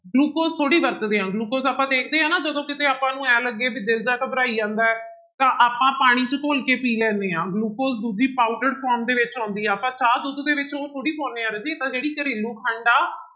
glucose ਥੋੜ੍ਹੀ ਵਰਤਦੇ ਹਾਂ ਗਲੂਕੋਜ ਆਪਾਂ ਦੇਖਦੇ ਹਾਂ ਨਾ ਜਦੋਂ ਕਿਤੇ ਆਪਾਂ ਨੂੰ ਇਉਂ ਲੱਗੇ ਵੀ ਦਿਲ ਜਿਹਾ ਘਬਰਾਈ ਜਾਂਦਾ ਹੈ, ਤਾਂ ਆਪਾਂ ਪਾਣੀ ਚ ਘੋਲ ਕੇ ਪੀ ਲੈਦੇਂ ਹਾਂ ਗਲੂਕੋਜ ਦੂਜੀ ਪਾਊਡਰ form ਦੇ ਵਿੱਚ ਆਉਂਦੀ ਆ, ਆਪਾਂ ਚਾਹ ਦੁੱਧ ਦੇ ਵਿੱਚ ਉਹ ਥੋੜ੍ਹੀ ਪਾਉਂਦੇ ਹਾਂ ਰਾਜੇ ਤਾਂ ਜਿਹੜੀ ਘਰੇਲੂ ਖੰਡ ਆ